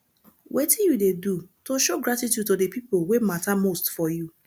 wetin you dey do to show gratitude to di people wey mata most for you